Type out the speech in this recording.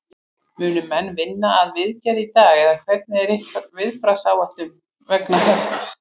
Munu menn vinna að viðgerð í dag eða hvernig er ykkar viðbragðsáætlun vegna þessa?